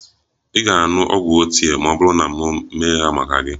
Ị ga-aṅụ ogwu ochie ma ọ bụrụ na m na-eme ha maka gị?